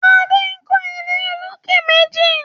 Ade nkọ ilé olokè méjì